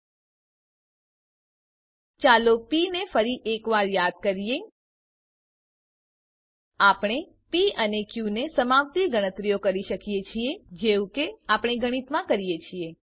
એ સાથે જ ચાલો પ ને ફરી એક વાર યાદ કરીએ આપણે પ અને ક ને સમાવતી ગણતરીઓ કરી શકીએ છીએ જેવું કે આપણે ગણિતમાં કરીએ છીએ